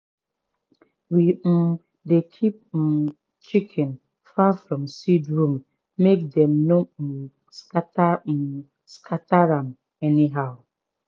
we um dey keep um chicken far from seed room make dem no um scatter um scatter am anyhow.